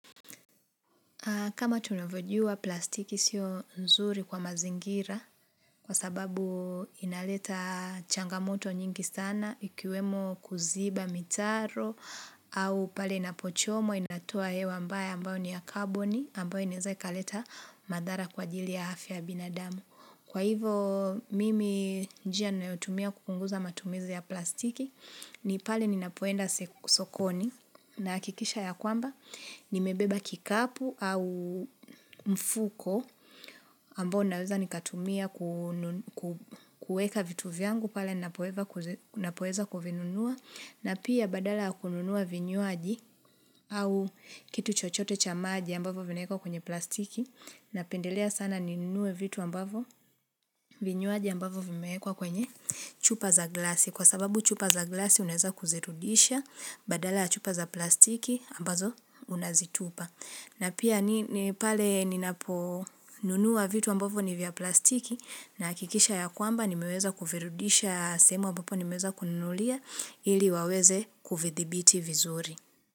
Kama tunavojua plastiki sio nzuri kwa mazingira kwa sababu inaleta changamoto nyingi sana ikiwemo kuziba mitaro au pale inapochomwa inatoa hewa ambayo ni ya kaboni ambayo inawezai kaleta madhara kwa ajili ya afya ya binadamu. Kwa hivo mimi njia ninayotumia kupunguza matumizi ya plastiki ni pale ninapoenda sokoni nahakikisha ya kwamba nimebeba kikapu au mfuko ambao naweza nikatumia kueka vitu vyangu pale ninapoeza kuvinunua na pia badala kununua vinyuaji au kitu chochote chamaji ambavo vinawekwa kwenye plastiki na pendelea sana ninue vitu ambavo. Vinywaji ambavo vimeekwa kwenye chupa za glasi. Kwa sababu chupa za glasi unaweza kuzirudisha, badala chupa za plastiki ambazo unazitupa. Na pia ni pale ninapo nunua vitu ambavo ni vya plastiki nahakikisha ya kwamba ni meweza kuvirudisha sehemu ambapo nimeweza kununulia ili waweze kuvidhibiti vizuri.